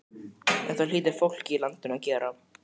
En það hlýtur fólkið í landinu að gera.